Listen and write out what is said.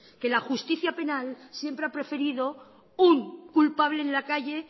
que la justicia penal siempre ha preferido un culpable en la calle